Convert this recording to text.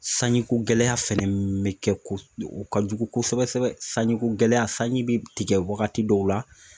Sanjiko gɛlɛya fɛnɛ me kɛ ko o kajugu kosɛbɛ sɛbɛ sanjiko gɛlɛya sanji bɛ tigɛ wagati dɔw la